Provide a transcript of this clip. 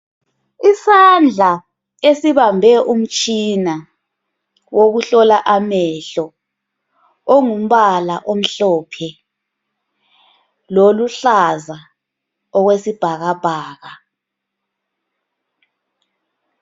Isandla esibambe umtshina wokuhlola amehlo ongumbala omhlophe loluhlaza okwesibhakabhaka